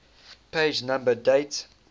page number date